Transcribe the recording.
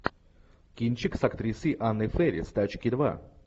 кинчик с актрисой анной фэрис тачки два